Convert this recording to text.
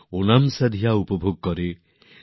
ওণামসাদিয়ার আনন্দে মেতে ওঠেন